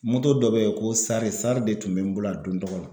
dɔ be ye ko sari sari de tun be n bolo a don tɔgɔ la.